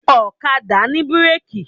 Ọ̀kadà ní bírèkì.